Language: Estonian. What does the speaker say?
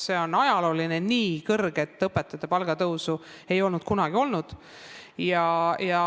See on ajalooline, nii suurt õpetajate palga tõusu ei ole kunagi olnud.